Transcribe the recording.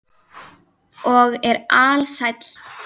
Og er alsæll.